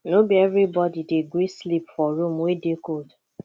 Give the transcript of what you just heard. no be everybodi dey gree sleep for room wey dey cold